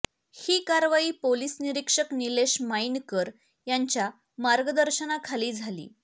ही कारवाई पोलिस निरीक्षक निलेश मायीणकर यांच्या मार्गदर्शनाखाली झाली